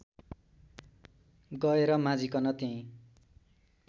गएर माझिकन त्यही